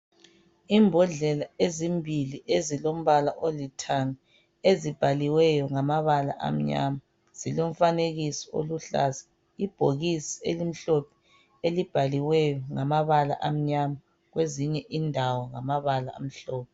Imbodlela ezimbili ezilombala olithanga ezibhaliweyo ngamabala amnyama zilomfanekiso oluhlaza. Ibhokisi elimhlophe elibhaliweyo ngamabala amnyama kwezinye indawo ngamabala amhlophe.